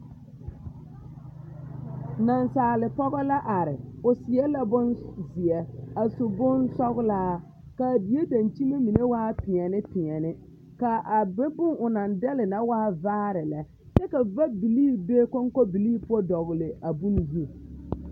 Naasaalepɔɡɔ la are o seɛ la bonzeɛ a su bonsɔɡelaa ka a die daŋkyime mine waa peɛlepeɛle ka a be meŋ o naŋ dɛle na meŋ waa vaare lɛ kyɛ ka vabilii be kɔŋkɔbilii poɔ a dɔɡele a bone zu.